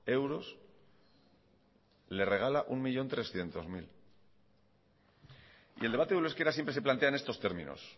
euros le regala un millón trescientos mil y el debate del euskera siempre se plantea en estos términos